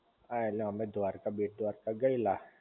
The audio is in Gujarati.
હા ઍટલે અમે દ્વારકા, બેટ દ્વારકા ગયેલા